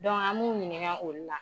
an m'u ɲininka ulu la.